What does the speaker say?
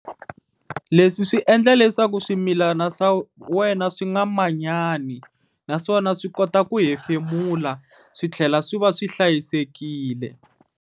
Leswi swi endla leswaku swimilana swa wena swi nga manyani, naswona swi kota ku hefemula swi tlhela swi va swi hlayisekile.